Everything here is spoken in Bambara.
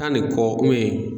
ni kɔ